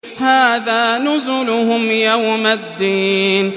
هَٰذَا نُزُلُهُمْ يَوْمَ الدِّينِ